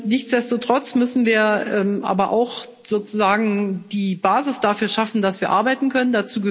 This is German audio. Nichtsdestoweniger müssen wir aber auch sozusagen die Basis dafür schaffen, dass wir arbeiten können.